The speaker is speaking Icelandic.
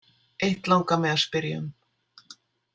Eitt langar mig að spyrja um.